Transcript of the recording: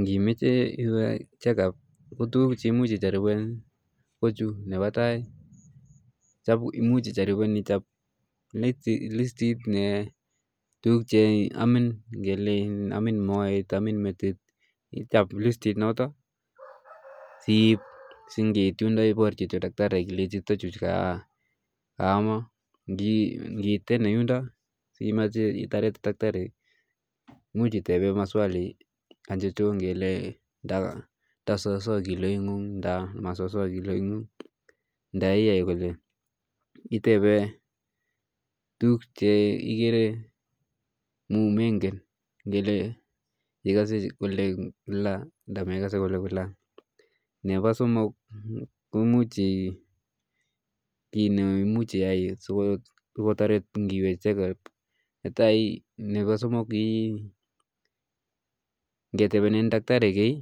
ngimeche iwe chekup kotukuk cheu chu chemuch ijarupen ichap listit ap tukun cheamin neu metit moet singiit yundo iparchi daktari ile ama chu akitepe daktari ile tos ata kiloishek chuu itepe kora tuku chemengen imwachi ngwamin kila anan ma kila kongo tepenen daktari key